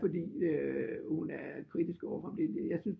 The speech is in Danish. Fordi hun er kritisk overfor om det jeg synes